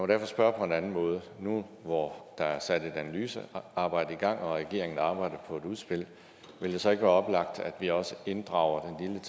derfor spørge på en anden måde nu hvor der er sat et analysearbejde i gang og regeringen arbejder på et udspil vil det så ikke være oplagt at vi også inddrager